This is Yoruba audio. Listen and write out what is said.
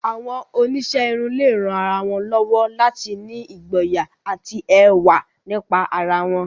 Àwọn oníṣẹ́ irun lè ran àwọn ènìyàn lọ́wọ́ láti ní ìgboyà àti ẹwà nípa ara wọn.